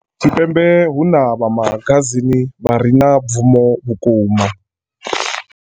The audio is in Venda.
Tshipembe vha magazini vhare na bvumo vhukuma.